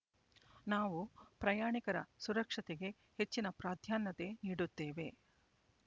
ನಾವು ಪ್ರಯಾಣಿಕರ ಸುರಕ್ಷತೆಗೆ ಹೆಚ್ಚಿನ ಪ್ರಾಧಾನ್ಯತೆ ನೀಡುತ್ತೇವೆ